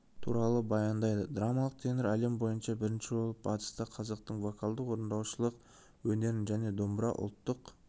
туралы баяндайды драмалық тенор әлем бойынша бірінші болып батыста қазақтың вокалды-орындаушылық өнерін және домбыра ұлттық